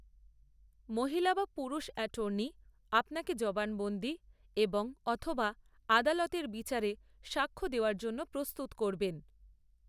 মহিলা বা পুরুষ এটর্নি আপনাকে জবানবন্দি এবং অথবা আদালতের বিচারে সাক্ষ্য দেওয়ার জন্য প্রস্তুত করবেন।